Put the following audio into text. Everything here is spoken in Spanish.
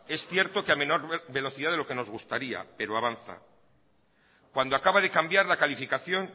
es cierto que a menor velocidad de lo que nos gustaría pero avanza cuando acaba de cambiar la calificación